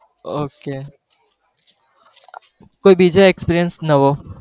okay કોઈ બીજો experience નવો